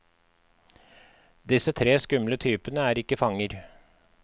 Disse tre skumle typene er ikke fanger.